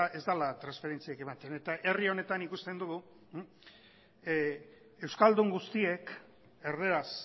ez dela transferentziak ematen eta herri honetan ikusten dugu euskaldun guztiek erdaraz